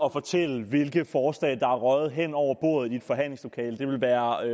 og fortælle hvilke forslag der er røget hen over bordet i et forhandlingslokale det ville være at